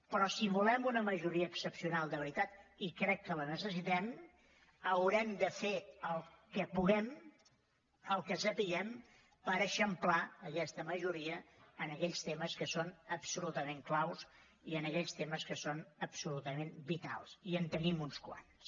però si volem una majoria excepcional de veritat i crec que la necessitem haurem de fer el que puguem el que sapiguem per eixamplar aquesta majoria en aquells temes que són absolutament claus i en aquells temes que són absolutament vitals i en tenim uns quants